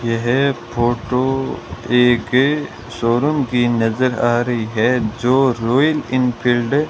यह फोटो एके शोरूम की नजर आ रही है जो रॉयल एनफील्ड --